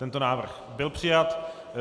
Tento návrh byl přijat.